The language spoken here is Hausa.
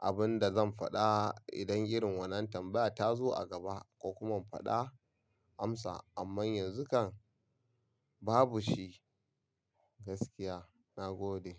abin da zan faɗa idan irin wannan tambaya ta zo a gaba ko kuma in faɗa amsa. Amma yanzu kan babu shi gaskiya. Na gode.